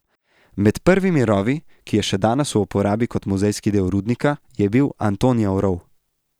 Med prvimi rovi, ki je še danes v uporabi kot muzejski del rudnika, je bil Antonijev rov.